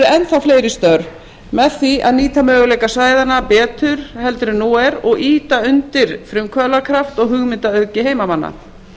enn þá fleiri störf með því a nýta möguleika svæðanna betur en nú er og ýta undir frumkvöðlakraft og hugmyndaauðgi heimamanna